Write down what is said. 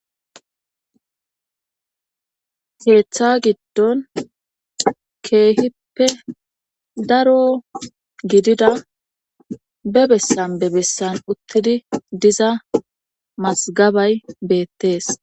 Keeththa gidon keehippe daro gidida ba bessan ba bessan utidi diza mazgabay beetees.